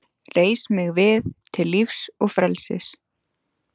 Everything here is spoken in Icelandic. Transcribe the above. Reis mig við til lífs og frelsis!